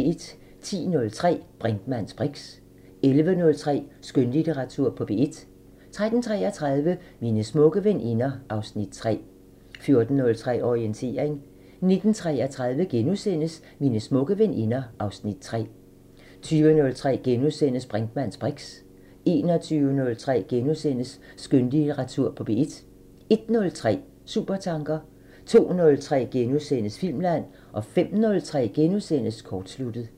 10:03: Brinkmanns briks 11:03: Skønlitteratur på P1 13:33: Mine smukke veninder (Afs. 3) 14:03: Orientering 19:33: Mine smukke veninder (Afs. 3)* 20:03: Brinkmanns briks * 21:03: Skønlitteratur på P1 * 01:03: Supertanker 02:03: Filmland * 05:03: Kortsluttet *